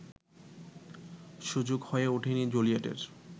সুযোগ হয়ে ওঠেনি জুলিয়েটের